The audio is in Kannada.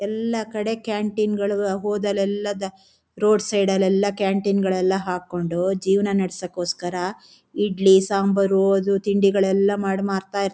ಎಲ್ಲಾ ಕಡೆ ಕ್ಯಾಂಟೀನ್ ಗಳು ಹೋದಲೆಲ್ಲಾ ದ ರೋಡ್ ಸೈಡ್ ಲೆಲ್ಲಾ ಕ್ಯಾಂಟೀನ್ ಗಳನ್ನೂ ಹಾಕೊಂಡು ಜೀವನ ನಡಸೋಕೋಸ್ಕರ ಇಡ್ಲಿ ಸಾಂಬಾರೋ ಅದು ತಿಂಡಿಗಳೆಲ್ಲ ಮಡ್ ಮಾರ್ತ--